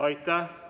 Aitäh!